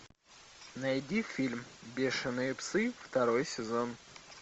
найди фильм бешеные псы второй сезон